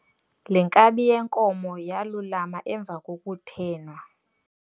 Le nkabi yenkomo yalulama emva kokuthenwa.